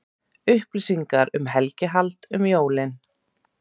Upplýsingar um helgihald um jólin